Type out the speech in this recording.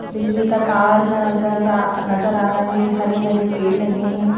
बिजली का तार नजर नज़र आ रहा है हरे-हरे पेड़ लगे हैं।